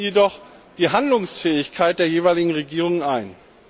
Sie schränkten jedoch die Handlungsfähigkeit der jeweiligen Regierungen ein.